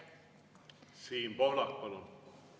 Siim Pohlak, palun!